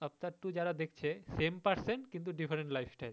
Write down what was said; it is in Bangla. Avtaar two যারা দেখছে same person কিন্তু different lifestyle